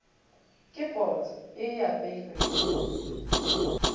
ke potsa ye e apeilwego